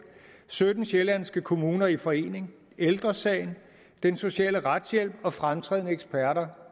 sytten sjællandske kommuner i forening ældre sagen den sociale retshjælp og fremtrædende eksperter